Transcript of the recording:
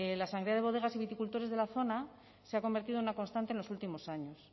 la sangría de bodegas y viticultores de la zona se ha convertido en una constante en los últimos años